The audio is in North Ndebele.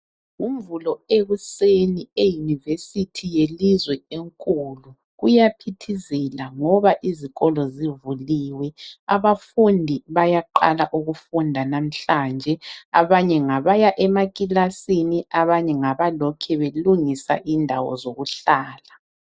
Ngomvulo ekuseni eyunivesithi yelizwe enkulu kuyaphithizela ngoba izikolo zivuliwe, abafundi bayaqala ukufunda namhlanje, abanye ngabaya emakilasini abanye ngabalokhe belungisa indawo zokuhlala.